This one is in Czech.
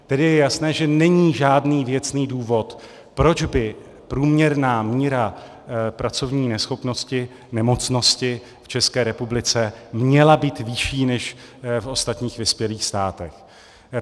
Tedy je jasné, že není žádný věcný důvod, proč by průměrná míra pracovní neschopnosti, nemocnosti v České republice měla být vyšší než v ostatních vyspělých státech.